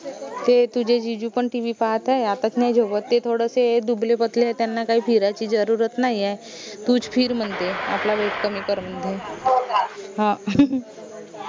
ते तुझे जीजू पन TV पाहात आय आतच नाई झोपत ते थोडेसे दुबले पतले आहेत त्यांना काही फिरायची जरुरत नाई ए तूच फिर म्हनते आपला weight कमी कर म्हनते हं